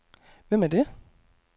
Hvem er det